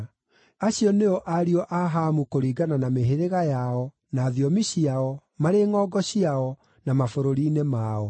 Acio nĩo ariũ a Hamu kũringana na mĩhĩrĩga yao, na thiomi ciao, marĩ ngʼongo ciao, na mabũrũri-inĩ mao.